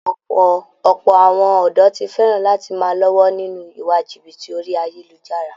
Ọ̀pọ̀ àwọn ọ̀dọ̀ ti fẹ̀ràn lati máa lọ́wọ́ nínú iwa jìbìtì orí ayélujára